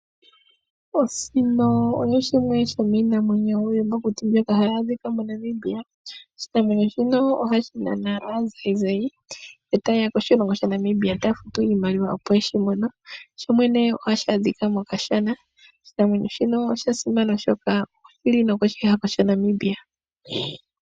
Osino oyo yimwe yomii namwenyo iiyamakuti mbyoka hayi adhika moNamibia. Oshinamwenyo shino ohashi nana aanzainzai eta yeya koshilongo shaNamibia taya futu iimaliwa opo yeshi mone. Shoshene ohashi adhika mokashana, oshinamwenyo shino osha simana oshoka oshili nokoshi hako shaNamibia.